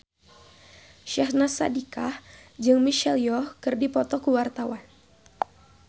Syahnaz Sadiqah jeung Michelle Yeoh keur dipoto ku wartawan